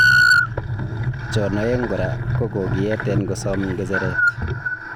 chon aeg kora ko kokiyeten kosam gejeret